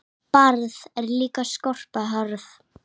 Barð er líka skorpa hörð.